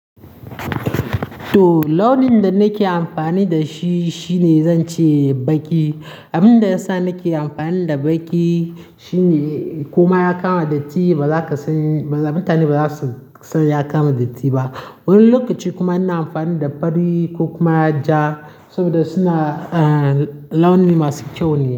To launin da nake amfani da shi shine zance baki. Abin da ya sa nake amfani da baki shine koma ya kama datti. Ba za ka sani ba, mutane ba za su san ya kama datti ba. Wani lokaci kuma ina amfani da fari ko kuma ja saboda suna, eh, launi masu kyau ne.